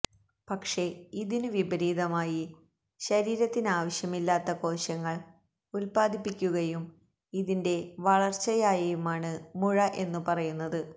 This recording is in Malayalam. പക്ഷേ ഇതിനു വിപരീതമായി ശരീരത്തിനാവശ്യമില്ലാത്ത കോശങ്ങൾ ഉത്പാദിപ്പിക്കുകയും ഇതിന്റെ വളർച്ചയായെയുമാണ് മുഴ എന്നു പറയുന്നത്